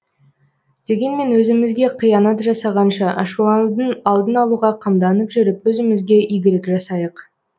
дегенмен өзімізге қиянат жасағанша ашуланудың алдын алуға қамданып жүріп өзімізге игілік жасайық